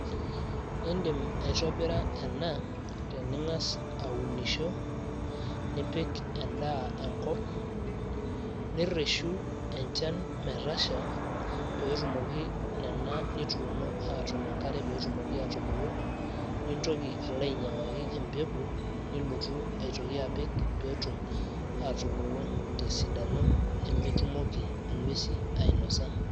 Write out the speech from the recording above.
iindim aitobira ena tening`as aunisho nipik endaa enkop nirreshu enchan metasha peetumoki nena nituuno atum enkare peetumoki aatubulu nintoki alo ainy`iang`aki empeku nilotu aitoki apik peetum atubulu tesidano nemetumoki ing`uesi ainosa.